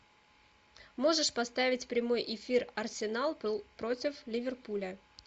можешь поставить прямой эфир арсенал против ливерпуля